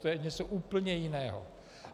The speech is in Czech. To je něco úplně jiného.